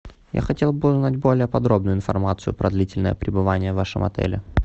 я хотел бы узнать более подробную информацию про длительное пребывание в вашем отеле